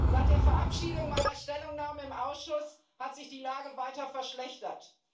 Seit der Verabschiedung meiner Stellungnahme im Ausschuss hat sich die Lage weiter verschlechtert.